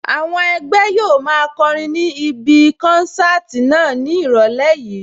Àwọn ẹgbẹ́ yóò máa kọrin ní ibí kánsáàtì náà ní ìrọ̀lẹ́ yìí